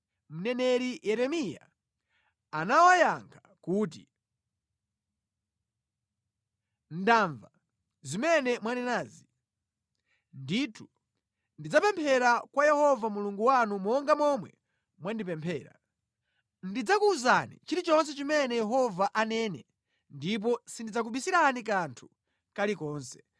Mneneri Yeremiya anawayankha kuti, “Ndamva zimene mwanenazi. Ndithu ndidzapemphera kwa Yehova Mulungu wanu monga momwe mwandipemphera. Ndidzakuwuzani chilichonse chimene Yehova anene ndipo sindidzakubisirani kanthu kalikonse.”